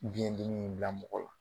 Biɲɛ dimi in bila mɔgɔ la.